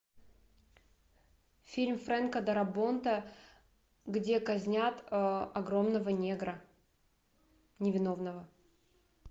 фильм фрэнка дарабонта где казнят огромного негра невиновного